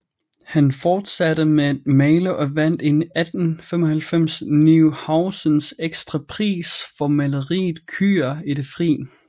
Han fortsatte med at male og vandt i 1895 Neuhausens Ekstrapris for maleriet Køer i det fri